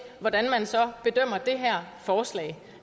hvordan man så bedømmer det her forslag